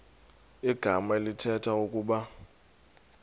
igama elithetha ukuba